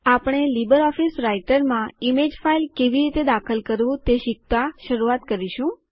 આપણે લીબરઓફીસ રાઈટરમાં image file કેવી રીતે દાખલ કરવું તે શીખતા શરૂઆત કરીશું